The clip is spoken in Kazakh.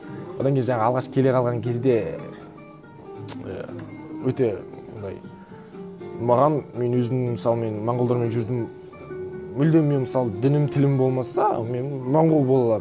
одан кейін жаңағы алғаш келе қалған кезде өте мынандай маған мен өзім мысалы мен монғолдармен жүрдім мүлдем мен мысалы дінім тілім болмаса мен монғол бола аламын